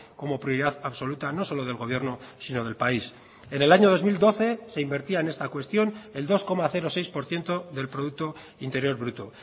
como prioridad absoluta no solo del gobierno sino del país en el año dos mil doce se invertía en esta cuestión el dos coma seis por ciento del producto interior bruto